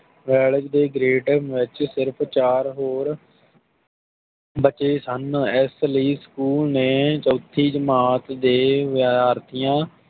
Wales ਦੇ ਗ੍ਰੇਟਨ ਵਿਚ ਸਿਰਫ ਚਾਰ ਹੋਰ ਬੱਚੇ ਸਨ ਇਸ ਲਈ ਸਕੂਲ ਨੇ ਚੋਥੀ ਜਮਾਤ ਦੇ ਵਿਦਿਆਰਥੀਆਂ